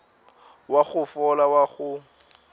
wa go fola wa go